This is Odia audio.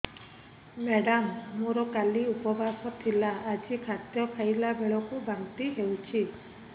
ମେଡ଼ାମ ମୋର କାଲି ଉପବାସ ଥିଲା ଆଜି ଖାଦ୍ୟ ଖାଇଲା ବେଳକୁ ବାନ୍ତି ହେଊଛି